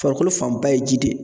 Farikolo fanba ye ji de ye